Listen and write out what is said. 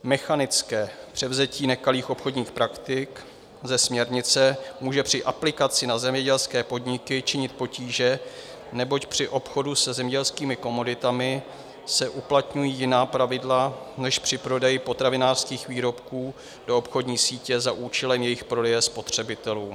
Mechanické převzetí nekalých obchodních praktik ze směrnice může při aplikaci na zemědělské podniky činit potíže, neboť při obchodu se zemědělskými komoditami se uplatňují jiná pravidla než při prodeji potravinářských výrobků do obchodní sítě za účelem jejich prodeje spotřebitelům.